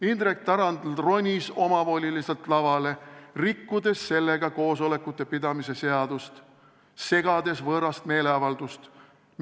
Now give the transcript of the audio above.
Indrek Tarand ronis omavoliliselt lavale, rikkudes sellega koosolekute pidamise seadust, segades võõrast meeleavaldust.